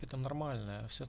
это нормально